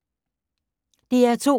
DR2